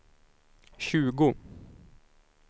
tjugo